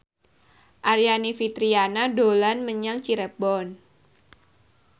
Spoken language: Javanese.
Aryani Fitriana dolan menyang Cirebon